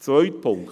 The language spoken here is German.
Zweiter Punkt: